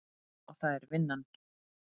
Og það er vinnan.